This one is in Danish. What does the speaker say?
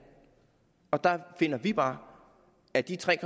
der finder vi bare at de tre